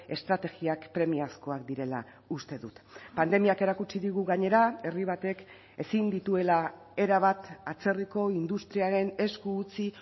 estrategiak premiazkoak direla uste dut pandemiak erakutsi digu gainera herri batek ezin dituela erabat atzerriko industriaren esku utzi